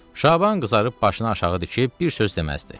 Şaban qızarıb başını aşağı dikib bir söz deməzdi.